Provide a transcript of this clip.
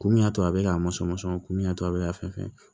Ko min y'a to a be k'a masɔn ko min y'a to a be k'a fɛn